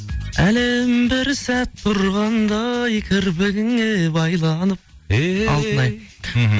әлем бір сәт тұрғанда ай кірпігіңе байланып ей алтынай мхм